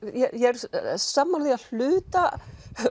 ég er sammála því að hluta